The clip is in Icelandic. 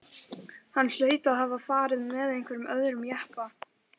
Hann hlaut að hafa farið með einhverjum öðrum jeppa.